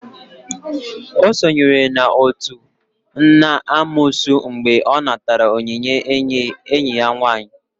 O sonyere n'otu n'amoosu mgbe ọ natara onyinye enyi ya nwaanyị.